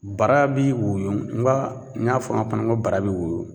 Bara bi woyo nka n y'a fɔ an pana ŋo bara be woyo.